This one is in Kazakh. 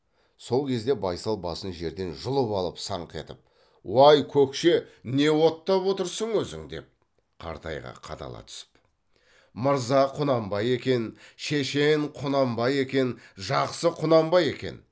сол кезде байсал басын жерден жұлып алып саңқ етіп уай көкше не оттап отырсың өзің деп қартайға қадала түсіп мырза құнанбай екен шешен құнанбай екен жақсы құнанбай екен